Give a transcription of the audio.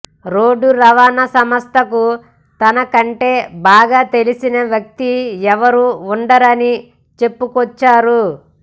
road రవాణా సంస్థకు తన కంటే బాగా తెలిసిన వ్యక్తి ఎవరూ ఉండరని చెప్పుకొచ్చారు